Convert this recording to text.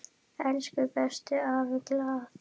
Elsku besti afi Glað.